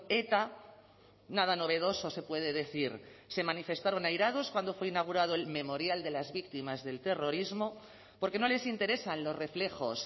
eta nada novedoso se puede decir se manifestaron airados cuando fue inaugurado el memorial de las víctimas del terrorismo porque no les interesan los reflejos